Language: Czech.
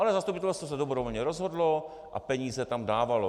Ale zastupitelstvo se dobrovolně rozhodlo a peníze tam dávalo.